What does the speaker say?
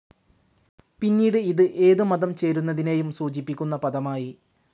പിന്നീട് ഇത് ഏത് മതം ചേരുന്നതിനേയും സൂചിപ്പിക്കുന്ന പദമായി.